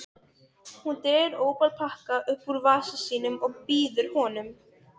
Hún dregur ópal-pakka upp úr vasa sínum og býður honum.